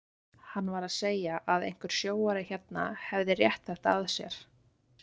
Hann var að segja að einhver sjóari hérna hefði rétt þetta að sér.